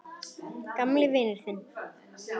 Þinn gamli vinur